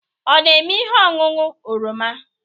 Ọ na-eme ihe ọṅụṅụ oroma?